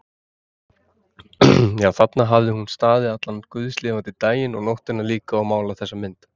Já, þarna hafði hún staðið allan guðslifandi daginn og nóttina líka og málað þessa mynd.